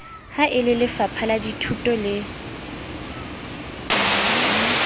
ha e lelefapha lathuto le